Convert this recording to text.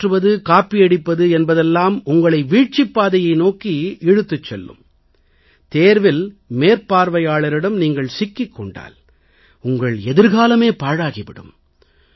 ஏமாற்றுவது காப்பியடிப்பது என்பதெல்லாம் உங்களை வீழ்ச்சிப் பாதையை நோக்கி உங்களை இழுத்துச் செல்லும் தேர்வில் மேற்பார்வையாளரிடம் நீங்கள் சிக்கிக் கொண்டால் உங்கள் எதிர்காலமே பாழாகி விடும்